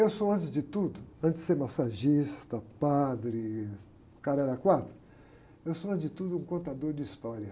Eu sou, antes de tudo, antes de ser massagista, padre, cara da quadra, eu sou, antes de tudo, um contador de história.